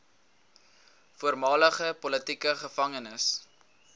voormalige politieke gevangenes